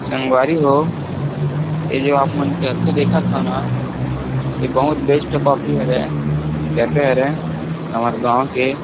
संगवारी हो ए जो आप मन कैफ़े देखत हो न ए बहुत बेस्ट कॉफ़ी हवे कैफ़े हरे हमर गाँव के --